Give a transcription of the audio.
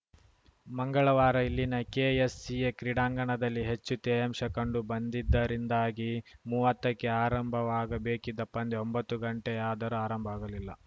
ಮಂಗಳವಾರ ಇಲ್ಲಿನ ಕೆಎಸ್‌ಸಿಎ ಕ್ರೀಡಾಂಗಣದಲ್ಲಿ ಹೆಚ್ಚು ತೇವಾಂಶ ಕಂಡು ಬಂದಿದ್ದರಿಂದಾಗಿ ಮೂವತ್ತಕ್ಕೆ ಆರಂಭವಾಗ ಬೇಕಿದ್ದ ಪಂದ್ಯ ಒಂಬತ್ತು ಗಂಟೆಯಾದರೂ ಆರಂಭವಾಗಲಿಲ್ಲ